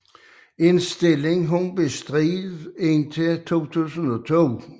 En stilling hun bestred indtil 2002